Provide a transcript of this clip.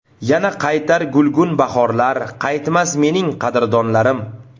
Yana qaytar gulgun bahorlar, Qaytmas mening qadrdonlarim.